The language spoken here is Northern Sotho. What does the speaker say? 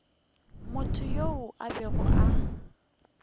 motho yoo a bego a